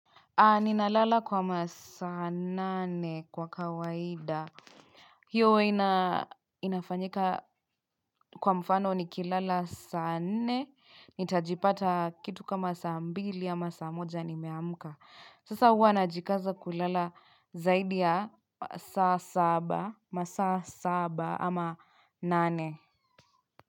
Ni nalala kwa masaa nane kwa kawaida. Hiyo ina inafanyika kwa mfano nikilala saa nne nitajipata kitu kama saa mbili ama saa moja nimeamka. Sasa huwa najikaza kulala zaidi ya saa saba masaa saba ama nane.